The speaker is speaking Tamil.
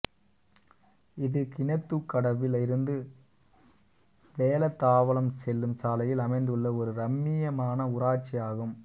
இது கிணத்துக்கடவில் இருந்து வேலந்தாவளம் செல்லும் சாலையில் அமைந்துள்ள ஒரு ரம்மியமான ஊராட்சி ஆகும்